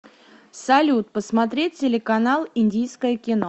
салют посмотреть телеканал индийское кино